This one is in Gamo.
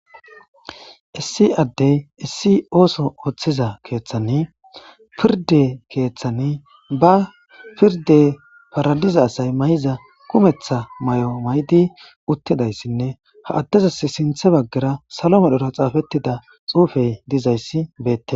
issi addey issi ooso ooththiza keeththani pirde keeththani ba pirde paradiza asay may7iza kumetha may7o maydi uttidayssinne ha addezas sinthe baggara salo modhora xaafettida xuufey dizayssi beette